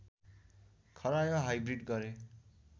खरायो हाइब्रिड गरे